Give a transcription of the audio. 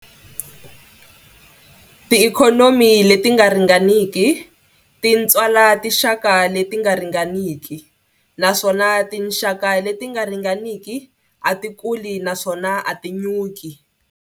Tiikhonomi leti nga ringaniki ti tswala tinxaka leti nga ringaniki, naswona tinxaka leti nga ringaniki a ti kuli naswona a ti nyuki.